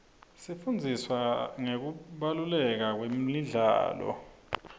sifundziswa ngekubaluleka kwemidlalo